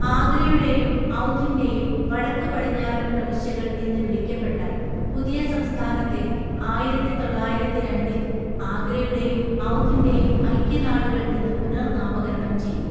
ആഗ്രയുടെയും ഔധിന്‍റെയും വടക്ക് പടിഞ്ഞാറൻ പ്രവിശ്യകൾ എന്ന് വിളിക്കപ്പെട്ട പുതിയ സംസ്ഥാനത്തെ ആയിരത്തിതൊള്ളായിരത്തിരണ്ടില്‍ ആഗ്രയുടെയും ഔധിന്‍റെയും ഐക്യനാടുകൾ എന്ന് പുനർനാമകരണം ചെയ്തു.